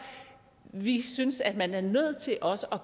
vi synes at man er nødt til også at